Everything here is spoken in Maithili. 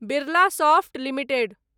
Birla soft limited